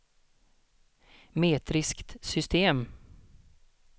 metriskt system